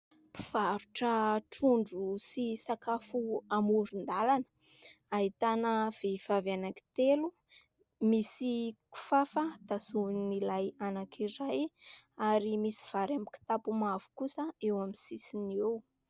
Mpivarotra trondro sy sakafo amoron-dalana. Ahitana vehivavy anankitelo misy kofafa tazomin'ilay anankiray ary misy vary amin'ny kitapo mavo kosa eo amin'ny sisiny eo.